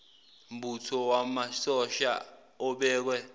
mbutho wamasosha obekwe